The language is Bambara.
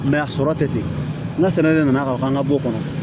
a sɔrɔ tɛ ten n ka sɛnɛ de nana ka n ka bɔ o kɔnɔ